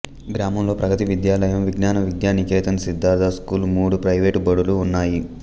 గ్రామంలో ప్రగతి విద్యాలయం విజ్ఞాన విద్యానికేతన్ సిద్దార్థ స్కూల్ మూడు ప్రైవేటు బడులు ఉన్నాయి